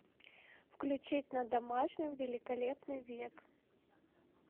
включить на домашнем великолепный век